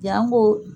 Yan ko